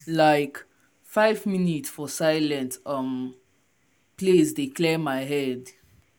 like five minute for silent um place dey clear my head.